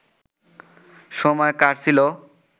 সময় কাটছিল